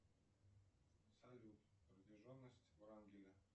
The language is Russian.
салют протяженность врангеля